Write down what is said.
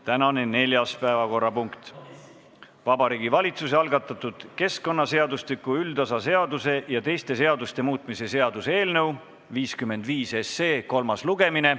Tänane neljas päevakorrapunkt: Vabariigi Valitsuse algatatud keskkonnaseadustiku üldosa seaduse ja teiste seaduste muutmise seaduse eelnõu 55 kolmas lugemine.